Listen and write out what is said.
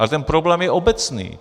Ale ten problém je obecný.